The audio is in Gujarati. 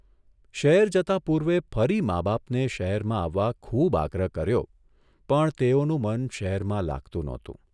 શહેર જતા પૂર્વે ફરી મા બાપને શહેરમાં આવવા ખુબ આગ્રહ કર્યો પણ તેઓનું મન શહેરમાં લાગતું નહોતું.